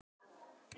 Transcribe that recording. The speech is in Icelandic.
Við förum inn!